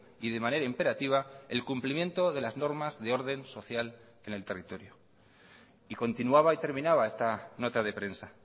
y de manera imperativa el cumplimiento de las normas de orden social en el territorio y continuaba y terminaba esta nota de prensa